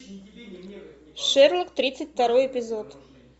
шерлок тридцать второй эпизод